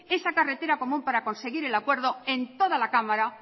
esa carretera común para conseguir el acuerdo en toda la cámara